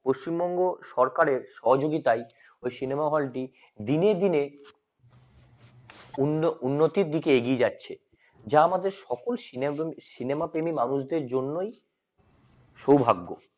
পশ্চিমবঙ্গ সরকারের সহযোগিতায় ওই cinema হলটি দিনে দিনে উন্ন~উন্নতির দিকে এগিয়ে যাচ্ছে যা আমাদের সকল সিনজোন cinema প্রেমী মানুষদের জন্যই সৌভাগ্য